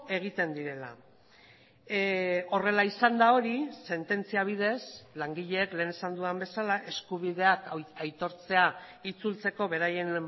egiten direla horrela izanda hori sententzia bidez langileek lehen esan dudan bezala eskubideak aitortzea itzultzeko beraien